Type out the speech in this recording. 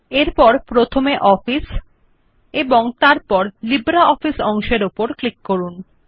এবং তারপর প্রথমে অফিস এবং তারপর লফিসিব্রেঅফিস অপশনটি উপর ক্লিক করুন